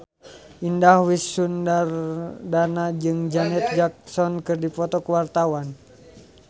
Indah Wisnuwardana jeung Janet Jackson keur dipoto ku wartawan